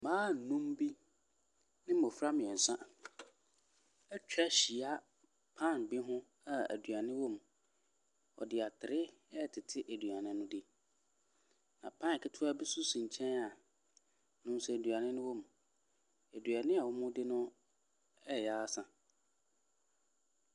Mmaa nnum bi ne mmɔfra mmiɛnsa atwa ahyia pan bi ho a aduane wɔ mu. Wɔde atere ɛretete aduane no di. Na pan ketewa bi nso si nkyɛn a ne nso aduane wɔ mu. Aduane wɔredi no ɛreyɛ asa.